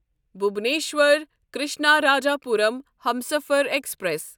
Bhubaneswar Krishnarajapuram Humsafar express